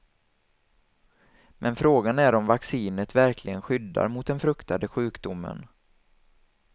Men frågan är om vaccinet verkligen skyddar mot den fruktade sjukdomen.